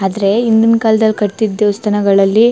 ಆದ್ರೆ ಹಿಂದಿನ್ ಕಾಲದಲ್ಲಿ ಕಟ್ಟತ್ತಿದ್ ದೇವಸ್ಥಾನಗಳಲ್ಲಿ --